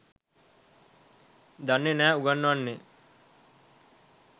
දන්නේ නෑ උගන්නන්නේ